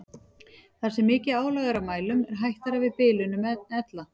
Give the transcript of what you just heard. Þar sem mikið álag er á mælum er hættara við bilunum en ella.